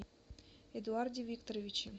эдуарде викторовиче